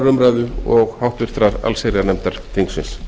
umræðu og háttvirtrar allsherjarnefndar þingsins